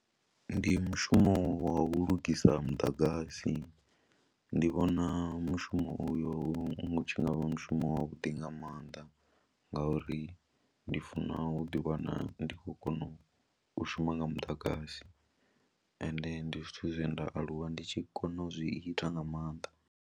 Ndi mushumo wa u lugisa muḓagasi, ndi vhona mushumo uyo u tshi nga vha mushumo wavhuḓi nga maanḓa ngauri ri ndi funa u ḓiwana ndi khou kona u shuma nga muḓagasi ende ndi zwithu zwe nda aluwa ndi tshi kona u zwi ita nga maanḓa.